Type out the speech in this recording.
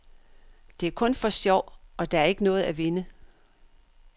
Det er kun for sjov, og der er ikke noget at vinde.